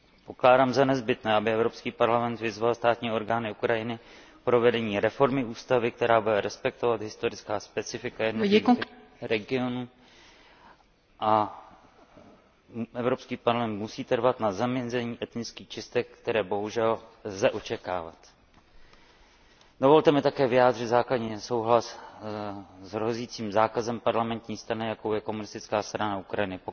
Pokládám za nezbytné, aby Evropský parlament vyzval státní orgány Ukrajiny k provedení reformy ústavy, která bude respektovat historická specifika jednotlivých regionů. Evropský parlament musí trvat na zamezení etnických čistek, které bohužel lze očekávát. Dovolte mi také vyjádřit základní nesouhlas s hrozícím zákazem parlamentní strany, jakou je Komunistická strana Ukrajiny.